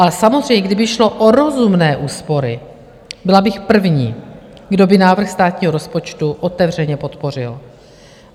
Ale samozřejmě, kdyby šlo o rozumné úspory, byla bych první, kdo by návrh státního rozpočtu otevřeně podpořil.